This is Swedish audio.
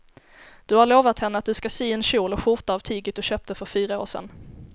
Du har lovat henne att du ska sy en kjol och skjorta av tyget du köpte för fyra år sedan.